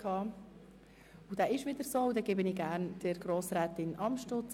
Es wird sich nicht mehr viel ändern.